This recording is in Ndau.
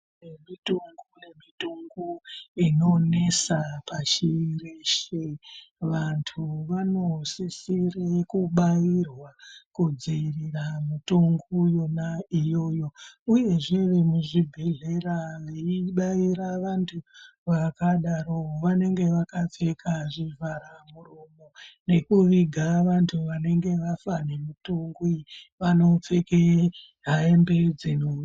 Kune mitungu nemitungu inonesa pashi reshe vantu vanosisire kubairwa kudzivirirwa mutungu yona iyoyo uyezve vemuzvibhedhlera veibaira vantu vakadaro vanenge vakapfeka zvivhara muromo nekuviga vantu vanenge vafa nemutungu iyi vanopfeka hembe dzakadaro.